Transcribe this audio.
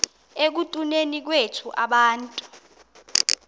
ekutuneni kwethu abantu